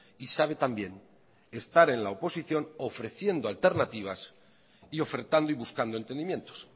y sabe también estar en la oposición ofreciendo alternativas y ofertando y buscando entendimientos